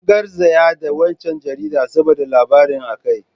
An garzaya da waccan jaridar saboda labarin a kai.